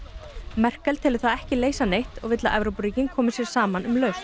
Merkel telur það ekki leysa neitt og vill að Evrópuríkin komi sér saman um lausn